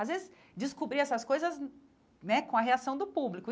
Às vezes, descobrir essas coisas né com a reação do público e.